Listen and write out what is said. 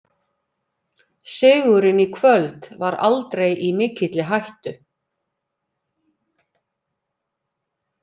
Sigurinn í kvöld var aldrei í mikilli hættu.